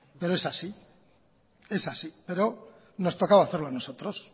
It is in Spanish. pero es así pero nos tocaba hacerlo a nosotros